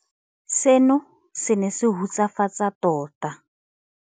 Seno se ne se hutsafatsa tota.